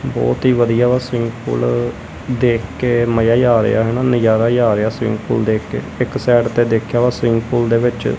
ਬੋਹੁਤ ਹੀ ਵਧੀਆ ਵਾ ਸਵੀਮਿੰਗ ਪੂਲ ਦੇਖ਼ ਕੇ ਮਜ਼ਾ ਜੇਹਾ ਆ ਰਿਹਾ ਹੈ ਨਾ ਨਜ਼ਾਰਾ ਜੇਹਾ ਆ ਰਿਹਾ ਸਵੀਮਿੰਗ ਪੂਲ ਦੇਖ਼ ਕੇ ਇੱਕ ਸਾਈਡ ਤੇ ਦੇਖੇਆ ਵਾ ਸਵੀਮਿੰਗ ਪੂਲ ਦੇ ਵਿੱਚ--